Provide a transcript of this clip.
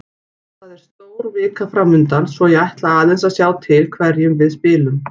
Það er stór vika framundan svo ég ætla aðeins að sjá til hverjum við spilum.